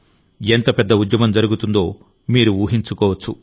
ఎంత పెద్ద ఉద్యమం జరుగుతుందో మీరు ఊహించుకోవచ్చు